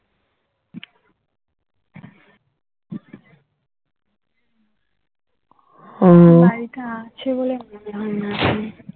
মা আছে বলে মনে হয় না এখন